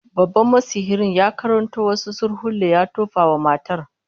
Babban masihircin ya karanto wasu surkulle ya tofa wa matar